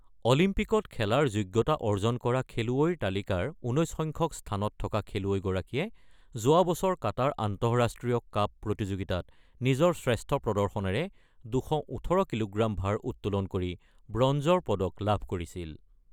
অলিম্পিকত খেলাৰ যোগ্যতা অৰ্জন কৰা খেলুৱৈৰ তালিকাৰ ১৯ সংখ্যক স্থানত থকা খেলুৱৈগৰাকীয়ে যোৱা বছৰ কাটাৰ আন্তঃৰাষ্ট্ৰীয় কাপ প্ৰতিযোগিতাত নিজৰ শ্ৰেষ্ঠ প্ৰদৰ্শনেৰে ২১৮ কিলোগ্ৰাম ভাৰ উত্তোলন কৰি ব্ৰঞ্জৰ পদক লাভ কৰিছিল।